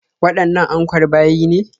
Waɗannan ankwar bayi ne?